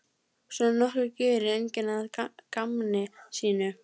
Svona nokkuð gerir enginn að gamni sínu.